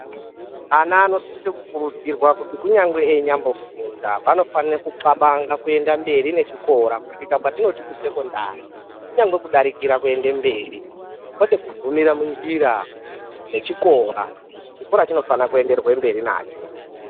Ana anosise kukurudzirwa kuti kunyangwe einya mbofunda vanofane kuxabanga kuenda mberi nechikora kusvika patinoti kusekondari kunyangwe kudarikira kuende mberi, kwete kugumire munjira nechikora. Chikora chinofana kuenderwe mberi nacho.